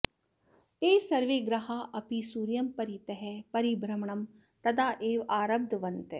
ते सर्वे ग्रहाः अपि सूर्यं परितः परिभ्रमणं तदा एव आरब्धवन्तः